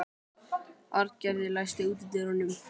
Arngerður, læstu útidyrunum.